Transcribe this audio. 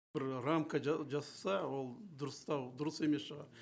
бір рамка жасаса ол дұрыстау дұрыс емес шығар